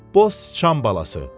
Boş sıçan balası.